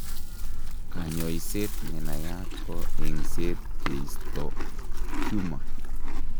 Kanyoiseet nenayat ko eng'seet kisto tumor